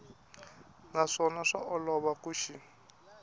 naswona swa olova ku xi